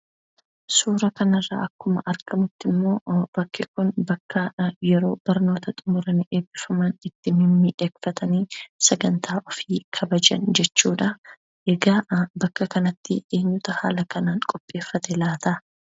Suura kana irraa akkuma argamutti immoo bakki kun bakka yeroo barnoota xumuran, eebbifaman itti mimmiidhagfatanii sagantaa ofii kabajan jechuudha. Egaa bakka kanatti eenyuutu haala kanaan qopheeffate laata?